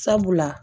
Sabula